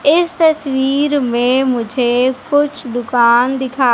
इस तस्वीर में मुझे कुछ दुकान दिखा--